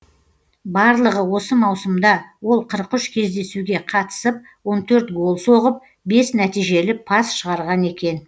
барлығы осы маусымда ол қырық үш кездесуге қатысып он төрт гол соғып бес нәтижелі пас шығарған екен